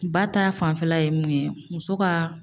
Ba ta fanfɛla ye mun ye muso ka